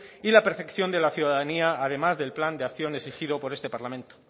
y la de la ciudadanía además del plan de acción exigido por este parlamento